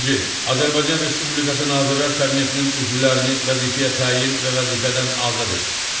Azərbaycan Respublikası Nazirlər Kabinetinin üzvlərini vəzifəyə təyin və vəzifədən azad edir.